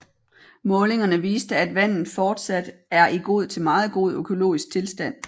Målingerne viste at vandet fortsat er i god til meget god økologisk tilstand